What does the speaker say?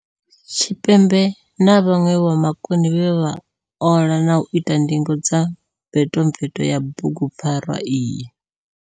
Tshipembe na vhanwe vhomakone vhe vha ola na u ita ndingo dza mvetomveto ya bugupfarwa iyi.